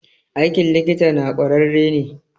Aikin likita na kwararre ne.